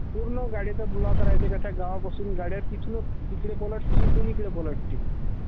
पूर्ण गाडीचा ब्लॉक राहात्या....त्या गावापासून गाड्या तिकडूनचं पलटती इकडून तिकडे पलटती